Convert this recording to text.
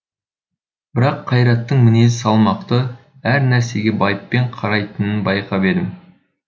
бірақ қайраттың мінезі салмақты әр нәрсеге байыппен қарайтынын байқап едім